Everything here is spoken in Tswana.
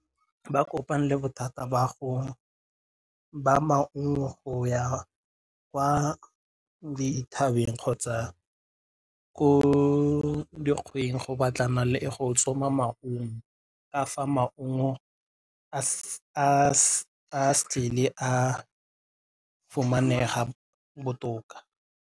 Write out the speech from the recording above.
Ba kopane le bothata ba go ba maungo go ya kwa dithabeng kgotsa ko dikgweng go batlana le go tsoma maungo a fa maungo fumanega botoka.